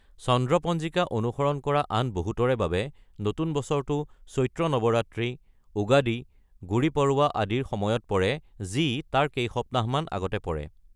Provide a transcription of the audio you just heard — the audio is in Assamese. চন্দ্ৰ পঞ্জিকা অনুসৰণ কৰা আন বহুতৰে বাবে নতুন বছৰটো চৈত্ৰ নৱৰাত্ৰী, উগাদী, গুড়ি পড়ৱা আদিৰ সময়ত পৰে, যি তাৰ কেইসপ্তাহমান আগতে পৰে।